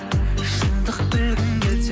шындық білгің келсе